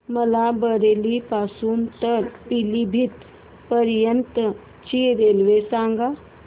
मला बरेली पासून तर पीलीभीत पर्यंत ची रेल्वे सांगा